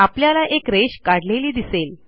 आपल्याला एक रेष काढलेली दिसेल